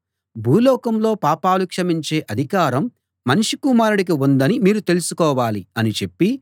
భూలోకంలో పాపాలు క్షమించే అధికారం మనుష్య కుమారుడికి ఉందని మీరు తెలుసుకోవాలి అని చెప్పి